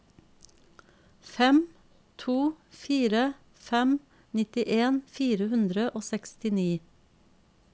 fem to fire fem nittien fire hundre og sekstini